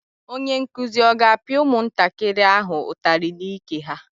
Onye nkuzi ọ ga-apịa ụmụntakịrị ahụ ụtarị n'ike ha?